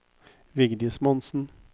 Vigdis Monsen